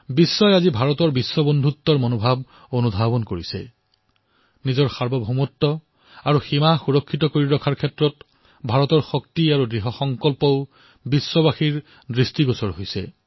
বিশ্বই এই সময়ছোৱাত ভাৰত বিশ্ব বন্ধুত্বৰ ভাৱনাক অনুভৱ কৰিছে আৰু ইয়াৰ বিশ্বই নিজৰ সাৰ্বভৌমত্ব আৰু সীমা ৰক্ষাৰ কৰাৰ বাবে ভাৰতৰ শক্তি তথা ভাৰতৰ প্ৰতিশ্ৰুতিৰ শক্তিও প্ৰত্যক্ষ কৰিছে